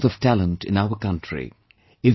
There is no dearth of talent in our country